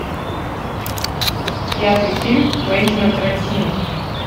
пятый фильм квентина тарантино